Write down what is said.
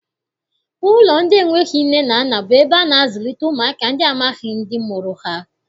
Ụlọ ndị enweghị nne na nna bụ ebe a na-azụlite ụmụaka ndị amaghị ndị mụrụ ha.